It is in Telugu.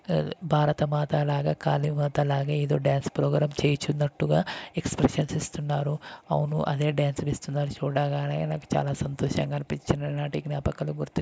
ఆ భారతమాత లాగా కాళీమాత లాగా ఏదో డాన్స్ ప్రోగ్రాం చేస్తున్నట్టుగా ఎక్స్ప్రెషన్ ఇస్తున్నారు అవును అదే డాన్స్ చేస్తున్నారు చూడగానే నాకు చాలా సంతోషంగా అనిపించి చిన్ననాటి జ్ఞాపకాలు గుర్తు --